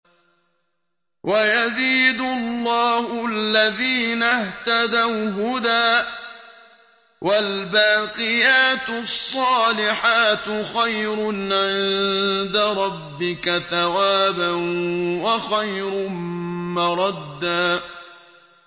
وَيَزِيدُ اللَّهُ الَّذِينَ اهْتَدَوْا هُدًى ۗ وَالْبَاقِيَاتُ الصَّالِحَاتُ خَيْرٌ عِندَ رَبِّكَ ثَوَابًا وَخَيْرٌ مَّرَدًّا